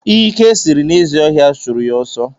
Ike sịrị na ezi ọhịa chụrụ ya ọsọ